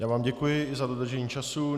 Já vám děkuji i za dodržení času.